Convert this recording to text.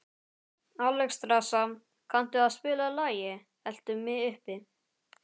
Alexstrasa, kanntu að spila lagið „Eltu mig uppi“?